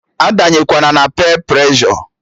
A danyekwana na peer preshọ!